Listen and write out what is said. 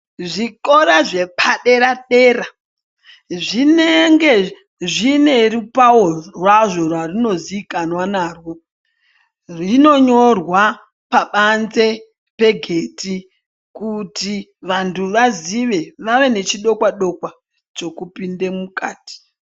Zvikora zvepadera-dera zvinenge zviine rupavo rwazvo rwazvinoziikanwa narwo. Zvinonyorwa pabanze pegedhi kuti vantu vazive vave nechidokwa-dokwa chekupinde mukati.